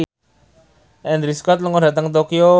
Andrew Scott lunga dhateng Tokyo